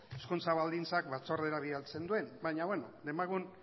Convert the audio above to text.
hezkuntza baldintzak batzordera bidaltzen duen baina beno demagun